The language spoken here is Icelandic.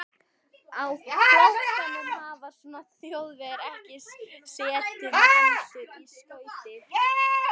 Á flóttanum höfðu Þjóðverjarnir ekki setið með hendur í skauti.